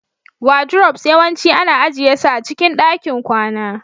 wardrobes yawanci ana ajiye su a cikin ɗakin kwana